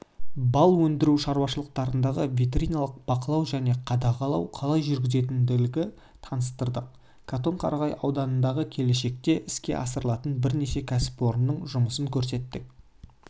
бал өндіру шаруашылықтарындағы ветеринарлық бақылау және қадағалау қалай жүргізілетіндігін таныстырдық катон-қарағай ауданындағы келешекте іске асырылатын бірнеше кәсіпорынның жұмысын көрсеттік